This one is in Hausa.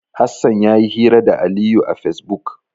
Hassan ya yi hira da Aliyu a Fesbuk.